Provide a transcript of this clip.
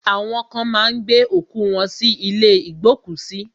Awọn kan má ń gbé òkú wọ́n sí ilé ìgbókùsí.